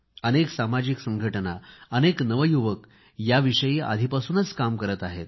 अनेक सामाजिक संघटना अनेक नवयुवक याविषयी आधीपासूनच काम करत आहेत